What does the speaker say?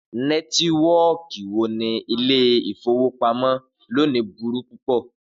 Nẹtiwọọki ni ile-ifowopamọ loni buru pu pọ.